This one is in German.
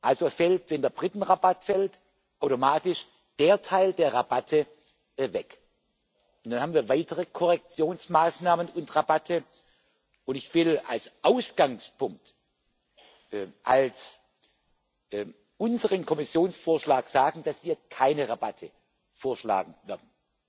Also fällt, wenn der Britenrabatt fällt, automatisch dieser Teil der Rabatte weg. Nun haben wir weitere Korrekturmaßnahmen und Rabatte, und ich will als Ausgangspunkt, als unseren Kommissionsvorschlag, anführen, dass wir keine Rabatte vorschlagen werden.